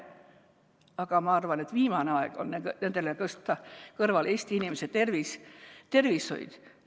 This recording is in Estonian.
Aga ma arvan, et viimane aeg on nende kõrvale tõsta Eesti inimese tervis ja tervishoid.